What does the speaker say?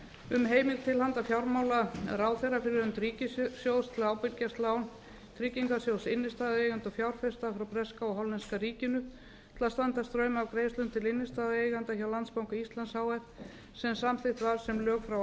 um heimild til handa fjármálaráðherra fyrir hönd ríkissjóðs til að ábyrgjast lán tryggingarsjóðs innstæðueigenda og fjárfesta frá breska og hollenska ríkinu til að standa straum af greiðslum til innstæðueigenda hjá landsbanka íslands h f sem samþykkt var sem lög frá